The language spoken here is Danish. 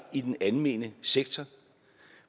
i den almene sektor